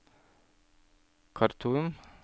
Khartoum